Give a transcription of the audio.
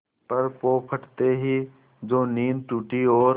पर पौ फटते ही जो नींद टूटी और